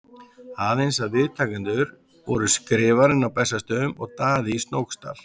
Aðeins að viðtakendur voru Skrifarinn á Bessastöðum og Daði í Snóksdal.